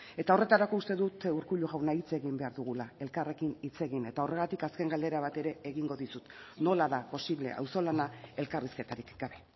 eta horretarako uste dut urkullu jauna hitz egin behar dugula elkarrekin hitz egin eta horregatik azken galdera bat ere egingo dizut nola da posible auzolana elkarrizketarik gabe